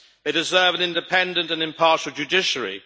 They deserve an independent and impartial judiciary.